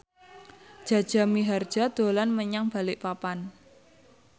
Jaja Mihardja dolan menyang Balikpapan